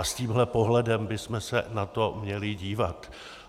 A s tímhle pohledem bychom se na to měli dívat.